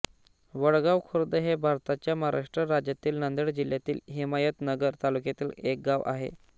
वडगाव खुर्द हे भारताच्या महाराष्ट्र राज्यातील नांदेड जिल्ह्यातील हिमायतनगर तालुक्यातील एक गाव आहे